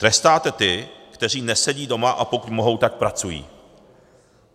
Trestáte ty, kteří nesedí doma, a pokud mohou, tak pracují.